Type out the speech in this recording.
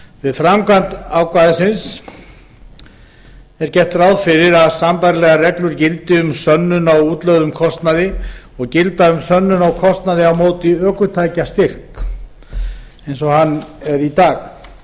við framkvæmd ákvæðisins er gert ráð fyrir að sambærilegar reglur gildi um sönnun á útlögðum kostnaði og gilda um sönnun á kostnaði á móti ökutækjastyrk eins og hann er í dag